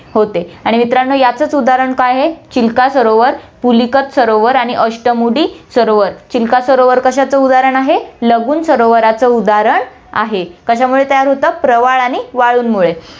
होते आणि मित्रांनो याचचं उदाहरण काय आहे, चिल्का सरोवर, पुलिकट सरोवर आणि अष्टमुडी सरोवर, चिल्का सरोवर कशाचं उदाहरण आहे, लगून सरोवराचं उदाहरण आहे, कश्यामुळे तयार होतं, प्रवाळ आणि वाळूंमुळे